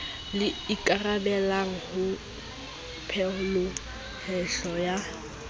le ikarabellang ho peholeihlo ya